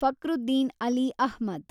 Fakhruddin Ali Ahmed